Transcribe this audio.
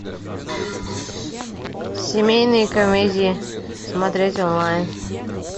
семейные комедии смотреть онлайн